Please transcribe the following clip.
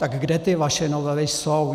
Tak kde ty vaše novely jsou?